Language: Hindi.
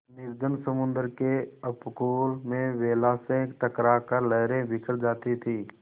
निर्जन समुद्र के उपकूल में वेला से टकरा कर लहरें बिखर जाती थीं